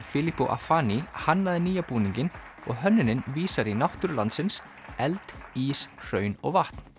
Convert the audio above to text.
Filippo hannaði nýja búninginn og hönnunin vísar í náttúru landsins eld ís hraun og vatn